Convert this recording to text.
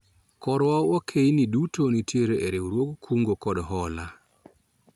Korwa wakeini duto nitiere a riwruog kungo kod hola